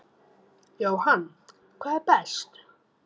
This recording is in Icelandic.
Jóhann: hvað er best?